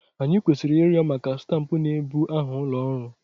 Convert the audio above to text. Anyị kwesịrị ịrịọ maka stampụ na-ebu aha ụlọ ọrụ.